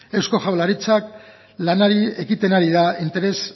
eusko jaurlaritza lanari ekiten ari da interes